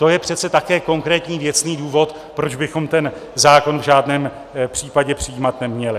To je přece také konkrétní, věcný důvod, proč bychom ten zákon v žádném případě přijímat neměli.